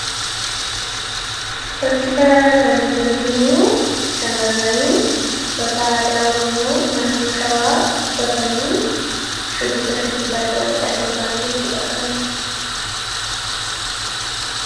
fakkii kanarraa kan nuti arginuu shamarranii uffataa aadaa oromoo naannoo shawaa uffatanii shubbisa shubbisaa jiraniidha sirbaanii jechuudha kan nuti arginu